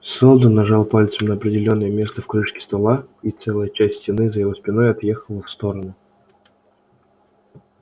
сэлдон нажал пальцем на определённое место в крышке стола и целая часть стены за его спиной отъехала в сторону